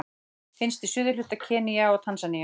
Finnst í suðurhluta Keníu og Tansaníu.